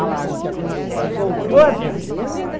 Ela soltou as represas